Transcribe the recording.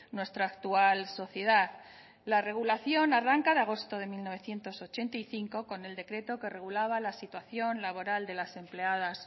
nuestra actual sociedad la regulación arranca de agosto de mil novecientos sesenta y cinco con el decreto que regulaba la situación laboral de las empleadas